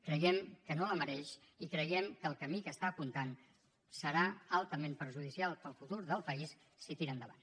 creiem que no la mereix i creiem que el camí que està apuntant serà altament perjudicial per al futur del país si tira endavant